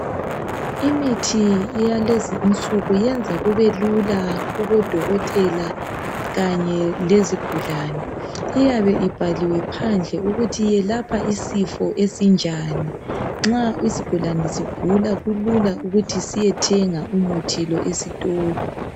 Imithi yalezi insuku yenza kubelula kuboDokotela kanye lezigulane. Iyabe ibhaliwe phandle ukuthi yelapha isifo esinjani nxa isigulane sigula kulula ukuthi siyethenga umuthi lo esitolo.